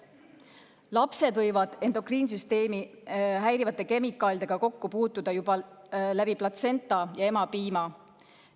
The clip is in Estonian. Lapsed võivad endokriinsüsteemi häirivate kemikaalidega kokku puutuda juba läbi platsenta ja emapiima.